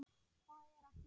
Hvað er að hrjá hann?